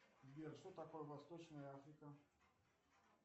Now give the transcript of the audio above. сбер что такое восточная африка